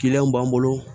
Kiliyanw b'an bolo